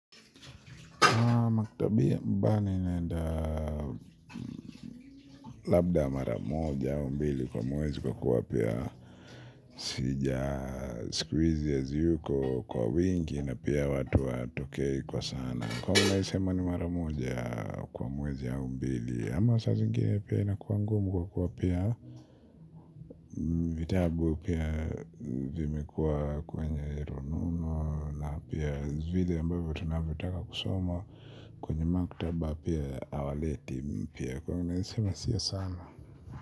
Mbani naenda labda maramoja au mbili kwa mwezi kwa kuwa pia sijaa sikuhizi haziyuko kwa wingi na pia watu watokei kwa sana kwa hiyo naeza sema ni maramoja kwa mwezi au mbili ama saa zingine pia inakuwa ngumu kwa kuwa pia vitabu pia vimekuwa kwenye rununu. Pia vile mbavyo tunavyotaka kusoma. Kwenye maktaba pia hawaleti mpya kwahio unaezasema siyo sana.